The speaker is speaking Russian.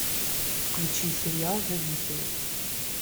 включи сериал зависимость